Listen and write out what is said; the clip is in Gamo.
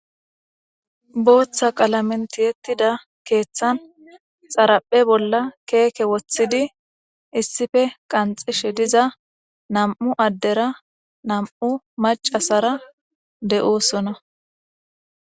Booththa qalamentiyettida keeththan xaraphe bolla keeke woththidi issife qanxishe diza nam'u addera nam'u macasara de'oosona.